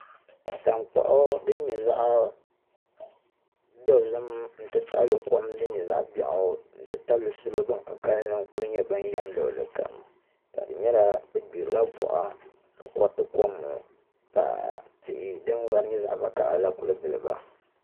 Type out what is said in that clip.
Tankpaɣu din nyɛ zaɣ dozim n ti pahi kom din nyɛ zaɣ biɛɣu n ti tabili salo bin ka kanli n ku nyɛ ban yɛm luɣuli kam ka di nyɛla bi gbirila boɣa ka koriti kom ŋo ka tihi din vari nyɛ zaɣ vakaɣali la kuli giliba